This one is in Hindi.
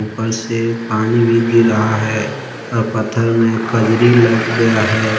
ऊपर से पानी भी गिर रहा है और पत्थर में कजरी लग गया है।